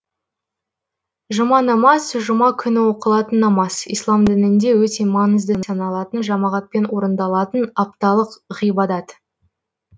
жұма намаз жұма күні оқылатын намаз ислам дінінде өте маңызды саналатын жамағатпен орындалатын апталық ғибадат